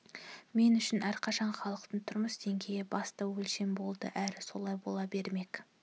мен үшін әрқашан халықтың тұрмыс деңгейі басты өлшем болды әрі солай бола бермек